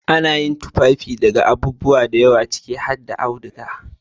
Ana yin tufafi daga abubuwa da yawa ciki har da auduga.